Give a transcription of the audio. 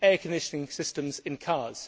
air conditioning systems in cars.